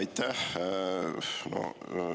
Aitäh!